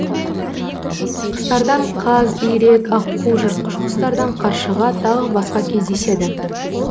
құстардан қаз үйрек аққу жыртқыш құстардан қаршыға тағы басқа кездеседі